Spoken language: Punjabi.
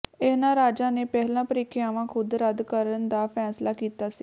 ਇਹਨਾਂ ਰਾਜਾਂ ਨੇ ਪਹਿਲਾਂ ਪ੍ਰੀਖਿਆਵਾਂ ਖੁਦ ਰੱਦ ਕਰਨ ਦਾ ਫੈਸਲਾ ਕੀਤਾ ਸੀ